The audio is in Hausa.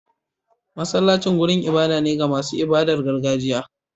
Masallacin wurin ibada ne ga masu ibadar gargajiya.